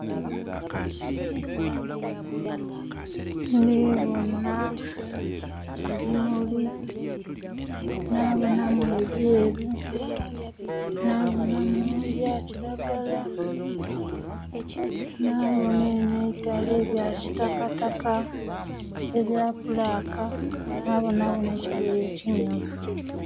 Ndhibona ebimuli nha bonhamu ebyeru nabonhamu ebya kiragala nhabonha enho eitale ebya kitakataka ebya bulaaka, nhabonha gho nhe kigoye ekimyufu.